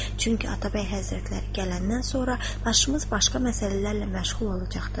Çünki Atabəy həzrətləri gələndən sonra başımız başqa məsələlərlə məşğul olacaqdır.